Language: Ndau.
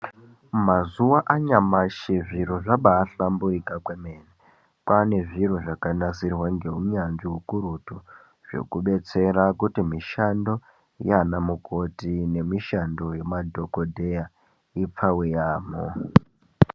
Mazuva anyashi zviro zvambaahlamburuka kwemene, kwava nezviro zvakanasirwa neunyanzvi ukurutu zvekudetsera kuti mishando yavana mukoti nemishando yemadhokodheya ipfave yaamho